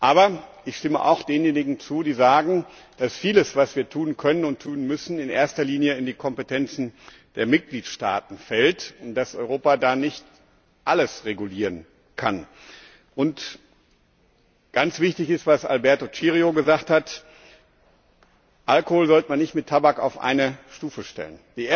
Aber ich stimme auch denjenigen zu, die sagen, dass vieles, was wir tun können und tun müssen, in erster Linie in die Kompetenz der Mitgliedstaaten fällt und dass Europa da nicht alles regulieren kann. Ganz wichtig ist, was Alberto Cirio gesagt hat Alkohol sollte man nicht mit Tabak auf eine Stufe stellen.